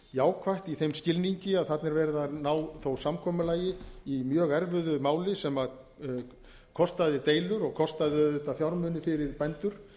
jákvætt í þeim skilningi að þarna er verið að ná þó samkomulagi í mjög erfiðu máli sem kostaði deilur og kostaði auðvitað fjármuni fyrir bændur